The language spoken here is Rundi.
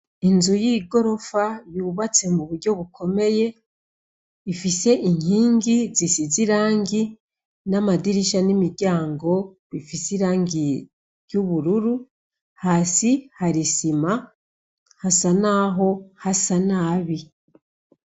Inzu y'igorofa yubatse muburyo bukomeye ifise inkingi isize irangi, n'amadirisha n'imiryango bifise irangi ry'ubururu, hasi har'isima hasa naho hasa nabi.